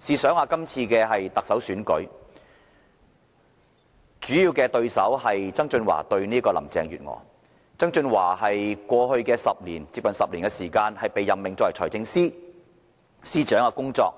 試想一下，今次特首選舉的主要競爭對手是曾俊華和林鄭月娥，前者在過去接近10年的時間內被任命為財政司司長，大家